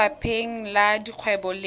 kwa lefapheng la dikgwebo le